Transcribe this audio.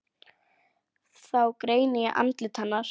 Þá greini ég andlit hennar.